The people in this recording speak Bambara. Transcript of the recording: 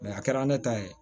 a kɛra ne ta ye